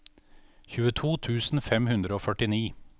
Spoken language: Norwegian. tjueto tusen fem hundre og førtini